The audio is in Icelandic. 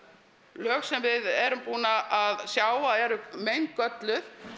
lög sem við erum búin að sjá að eru meingölluð